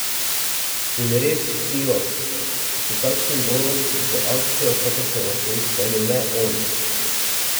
Ja, res si jo, s takšnim golom, z akcijo, kakršno lahko izpelje le on ...